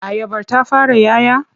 Ayabar ta fara 'ya 'ya?